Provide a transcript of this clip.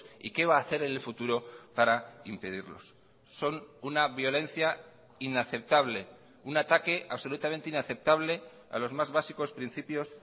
y qué va a hacer en el futuro para impedirlos son una violencia inaceptable un ataque absolutamente inaceptable a los más básicos principios